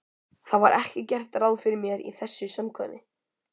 Það var ekki gert ráð fyrir mér í þessu samkvæmi.